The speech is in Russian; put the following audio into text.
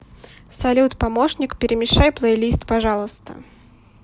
салют помощник перемешай плейлист пожалуйста